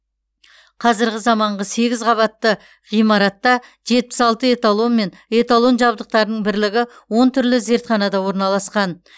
қазірғі заманғы сегіз қабатты ғимаратта жетпіс алты эталон мен эталон жабдықтарының бірлігі он түрлі зертханада орналасқан